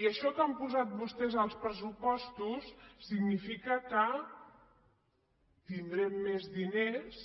i això que han posat vostès als pressupostos significa que tindrem més diners